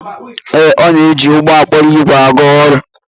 Ee, ọ na-eji ụgbọ okporo ígwè aga ọrụ.